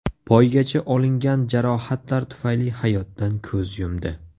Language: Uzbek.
Poygachi olingan jarohatlar tufayli hayotdan ko‘z yumdi.